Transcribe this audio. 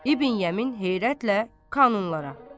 İbn Yəmin heyrətlə kanunlara.